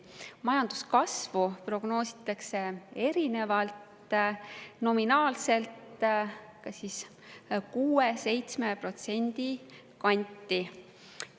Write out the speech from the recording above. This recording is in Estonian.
Majanduskasvu prognoositakse erinevalt, nominaalselt 6% või 7% kanti.